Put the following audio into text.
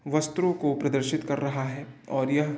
वस्त्रो को प्रदर्शित कर रहा है और यह --